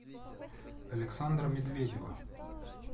александра медведева